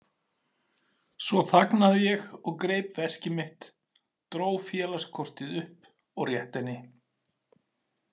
Svo þagnaði ég og greip veskið mitt, dró félagskortið upp og rétti henni.